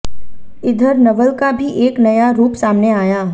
इधर नवल का भी एक नया रूप सामने आया